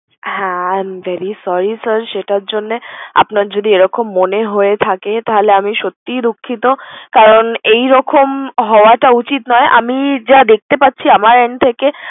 হ্যাঁ I am very sorry sir সেটার জন্যে। আপনার যদি এরকম মনে হয়ে থাকে তাহলে আমি সত্যিই দুঃখিত। কারণ এইরকম হওয়াটা উচিত নয়। আমি যা দেখতে পাচ্ছি আমার end থেকে